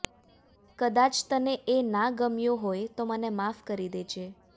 કદાચ તને એ ના ગમ્યું હોય તો મને માફ કરી દેજે